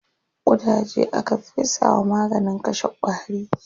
Ƙudaje aka fesa wa maganin kashe ƙwari.